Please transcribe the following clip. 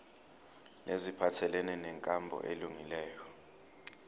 neziphathelene nenkambo elungileyo